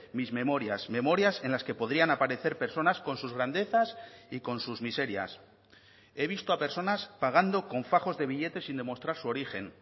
mis memorias memorias en las que podrían aparecer personas con sus grandezas y con sus miserias he visto a personas pagando con fajos de billetes sin demostrar su origen